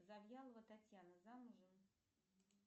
завьялова татьяна замужем